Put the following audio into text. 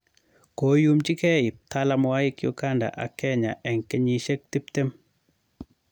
Koyuumchi keey ptalaamwaiik Uganda ak Kenya en kenyiisyek tipteem